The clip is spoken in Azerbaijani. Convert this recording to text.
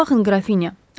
Baxın, qrafinya.